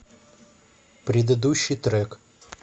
предыдущий трек